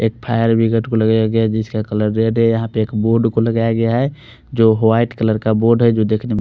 एक fire brigade बुलाया गयाहै जिसका कलर रेड है यहाँ पर एक बोर्ड को लगाया गया है जो वाइट कलर का बोर्ड जो देखने में--